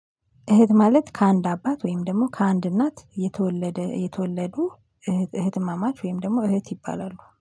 እህት ማለት ከአንድ አባት ወይም ደግሞ ከአንድ እናት የተወለደ የተወለዱ እህት እህትማማች ወይም ደግሞ እህት ይባላሉ